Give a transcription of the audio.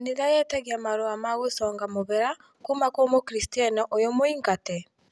kanitha yetagia marũa ma gũconga mũhera kuuma kwĩ Mũkristiano ũyũ mũingate